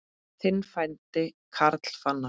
Þinn frændi, Karl Fannar.